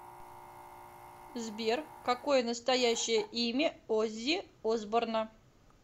сбер какое настоящее имя оззи осборна